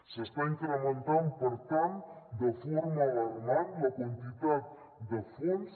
s’està incrementant per tant de forma alarmant la quantitat de fons